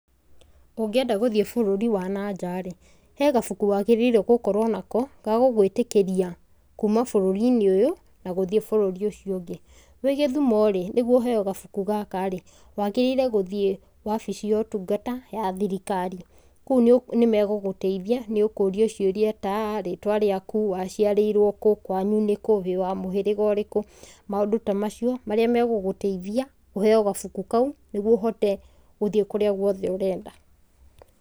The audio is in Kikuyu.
Ũngĩenda gũthiĩ bũrũri wa nanja rĩ, he gabuku wagĩrĩirwo gũkorwo nako, gagũgũĩtĩkĩria kuuma bũrũri-inĩ ũyũ na gũthiĩ bũrũri ũcio ũngĩ. Wĩ gĩthumo rĩ, nĩguo uheo gabuku gaka rĩ, wagĩrĩirwo gũthiĩ wabici ya ũtungata ya thirikari, kũu nĩ megũgũteithia nĩ ũkũrio ciũria ta rĩtwa rĩaku, waciarĩrwo kũ, kwanyu nĩ kũ, wĩ wa mũhĩrĩga ũrĩkũ, maũndũ ta macio marĩa megũgũteithia ũheo gabuku kau nĩguo ũhote gũthiĩ kũrĩa guothe ũrenda.